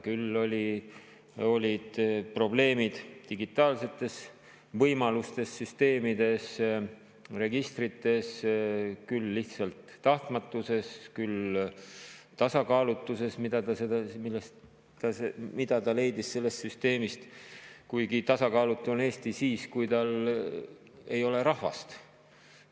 Küll olid probleemid digitaalsetes võimalustes, süsteemides, registrites, küll lihtsalt tahtmatuses, küll tasakaalutuses, mida ta leidis sellest süsteemist – kuigi tasakaalutu on Eesti siis, kui tal ei ole rahvast.